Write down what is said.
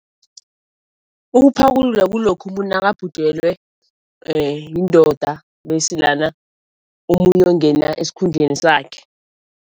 Ukuphakulula kulokha umuntu nakabhujelwe yindoda bese lana omunye uyokungena esikhundleni sakhe.